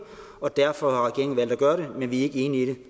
og derfor har regeringen valgt at gøre det men vi er ikke enige i det